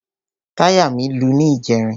Táyà mí lu ní ìjẹrin.